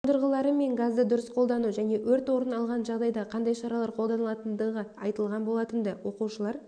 қондырғылары мен газды дұрыс қолдану және өрт орын алғанда қандай шаралар қолданылатындығы айтылған болатынды оқушылар